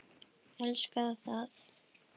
Elska það.